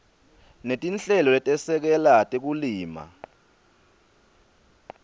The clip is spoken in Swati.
netinhlelo letesekela tekulima